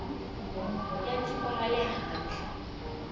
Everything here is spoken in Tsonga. ya tiko ra le handle